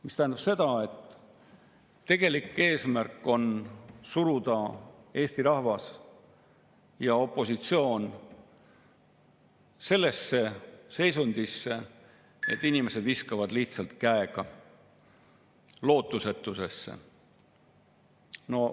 See tähendab seda, et tegelik eesmärk on suruda Eesti rahvas ja opositsioon sellesse seisundisse, et inimesed lootusetuses lihtsalt käega.